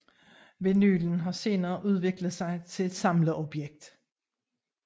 Vinylen har senere udviklet sig til et samleobjekt